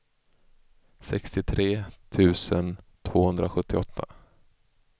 sextiotre tusen tvåhundrasjuttioåtta